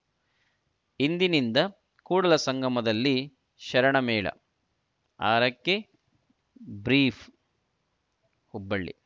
ಇಂದಿನಿಂದ ಕೂಡಲ ಸಂಗಮದಲ್ಲಿ ಶರಣ ಮೇಳ ಆರಕ್ಕೆ ಬ್ರೀಫ್‌ ಹುಬ್ಬಳ್ಳಿ